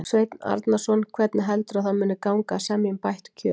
Sveinn Arnarson: Hvernig heldurðu að það muni gangi að semja um bætt kjör?